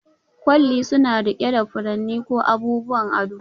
Kwalli suna riƙe da furanni ko abubuwan ado